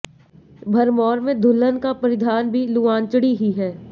भरमौर में दुल्हन का परिधान भी लुआंचड़ी ही है